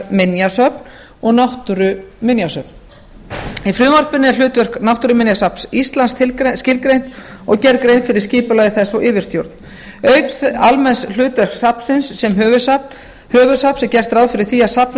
menningarminjasöfn og náttúruminjasöfn í frumvarpinu er hlutverk náttúruminjasafns íslands skilgreint og gerð grein fyrir skipulagi þess og yfirstjórn auk almenns hlutverks safnsins sem höfuðsafns er gert ráð fyrir því að safnið